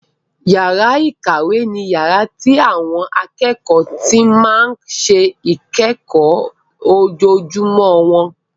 Yàrá ìkàwé ni yàrá tí àwọn akẹ́kọ̀ọ́ ti máa ń ṣe ìkẹ́kọ̀ọ́ ojoojúmọ́ wọn.